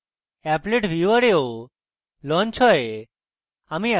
applet viewer এও launch হয়